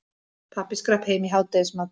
Pabbi skrapp heim í hádegismat.